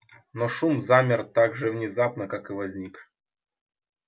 но шум замер так же внезапно как и возник